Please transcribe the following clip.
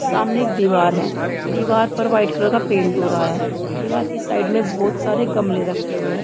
सामने एक दीवार है दीवार पर वाइट कलर का पेंट हो रहा है दीवार की साइड में बोहत सारे गमले रखे हुए है।